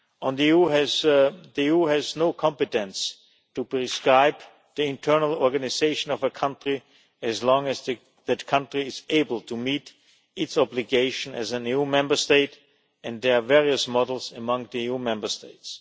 The EU has no competence to prescribe the internal organisation of a country as long as that country is able to meet its obligation as an EU Member State, and there are various models among the EU Member States.